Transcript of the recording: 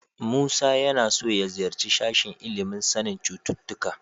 Musa yana so ya ziyarci sashen ilimin sanin cututtuka.